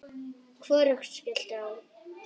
Hvorugt skellti á.